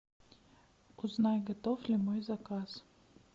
узнай готов ли мой заказ